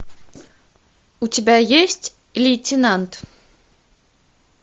у тебя есть лейтенант